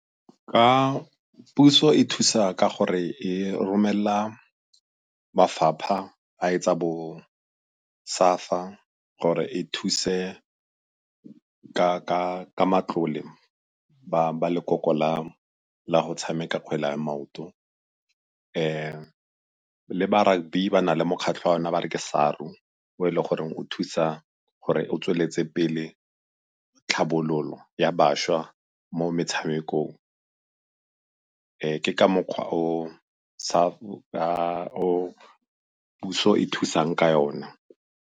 Ka puso e thusa ka gore e romelela mafapha a etsa bo SAFA ka gore e thuse ka matlole ba lekoko la go tshameka kgwele ya maoto. Le ba rugby ba na le mokgatlho wa yona ba reng ke SARU o e le goreng o thusa gore o tsweletse pele tlhabololo ya bašwa mo metshamekong. Ke ka mokgwa o puso e thusang ka yona.